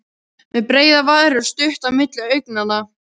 Með breiðar varir og stutt á milli augnanna.